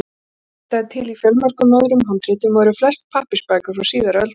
Snorra-Edda er til í fjölmörgum öðrum handritum, og eru þau flest pappírsbækur frá síðari öldum.